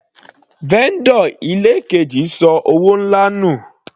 Vendor ilé keji ṣọ owó nlá nù.